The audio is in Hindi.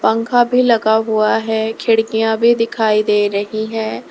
पंखा भी लगा हुआ है खिड़कियां भी दिखाई दे रही है।